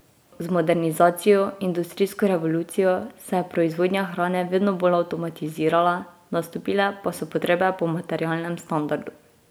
Z modernizacijo, industrijsko revolucijo se je proizvodnja hrane vedno bolj avtomatizirala, nastopile pa so potrebe po materialnem standardu.